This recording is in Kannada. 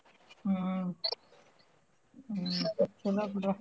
ಹ್ಮ್ ಹ್ಮ್ ಚಲೋ ಬಿಡ್ವ.